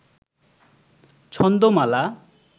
ছন্দমালা